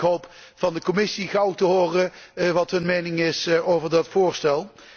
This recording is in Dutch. Ik hoop van de Commissie gauw te horen wat haar mening is over dat voorstel.